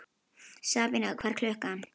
Sabína, hvað er klukkan?